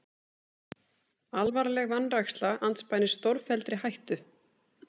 Alvarleg vanræksla andspænis stórfelldri hættu